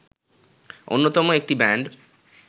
অন্যতম একটি ব্যান্ড